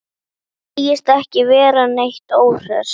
Segist ekki vera neitt óhress.